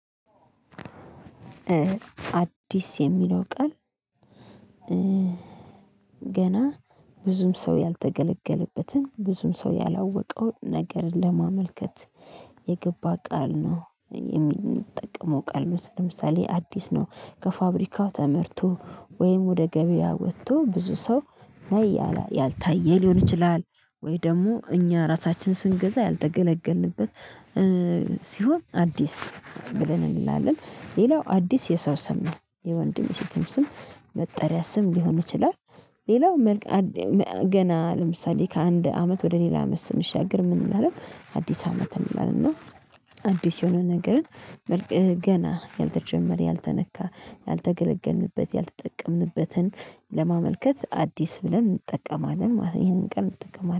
አዲስ የሚለው ቀን። ገና ብዙም ሰው ያልተገለገለበትን ብዙም ሰው ያላወቀውን ነገርን ለማመልከት የገባ ቃል ነው የሚጠቀመው ቃል ነው። ለምሳሌ አዲስ ነው ከፋብሪካው ተመርቶ ወይም ወደ ገበያ ወጥቶ ብዙ ሰው ላይ ያላ ያልታየ ሊሆን ይችላል ወይ ደግሞ እኛ ራሳችን ስንገዛ ያልተገለገልንበት። ሲሆን አዲስ ብለን እንላለን። ሌላው አዲስ የሰው ስም የወንድም የሴትም ስም መጠሪያ ስም ሊሆን ይችላል። ሌላው መልካ ገና ለምሳሌ ከአንድ አመት ወደ ሌላ አመት ስንሻገር ምን እንላለን አዲስ አመት እንላለን። እና አዲስ የሆነ ነገርን መልክ ገና ያልተጀመረ ያልተነካ ያልተገለገልንበት ያልተጠቀምንበትን ለማመልከት አዲስ ብለን እንጠቀማለን ማለት ነው። ይሄንን ቃል እንጠቀማለን